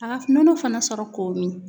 A ka nɔnɔ fana sɔrɔ k'o min